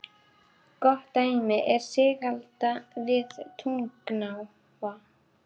Gott dæmi er Sigalda við Tungnaá.